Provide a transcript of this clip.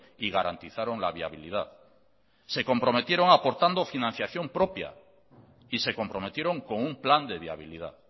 y garantizaron la viabilidad se comprometieron aportando financiación propia y se comprometieron con un plan de viabilidad